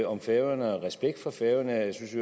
om færøerne og respekt for færøerne jeg synes i